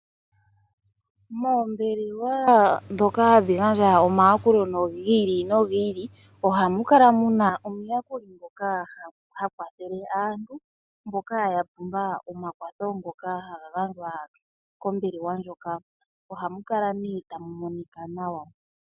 Moombelewa ndhoka hadhi gandja omayakulo gi ili nogi ili ohamu kala muna omuyakuli ngoka ha kwathele aantu mboka ya pumbwa omakwatho ngoka haga gandjwa kombelewa ndjoka. Ohamu kala nee ta mu monika nawa.